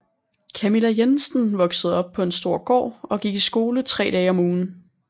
Camilla Jensen vokede op på en stor gård og gik i skole tre dage om ugen